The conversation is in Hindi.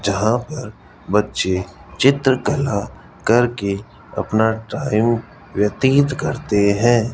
जहां पर बच्चे चित्रकला करके अपना टाइम व्यतीत करते हैं।